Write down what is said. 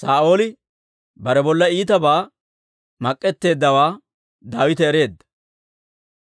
Saa'ooli bare bolla iitabaa mak'k'eteeddawaa Daawite ereedda;